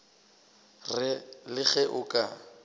re le ge o ka